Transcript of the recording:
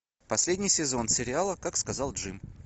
последний сезон сериала как сказал джим